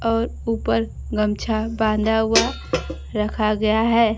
और ऊपर गमछा बांधा हुआ रखा गया है।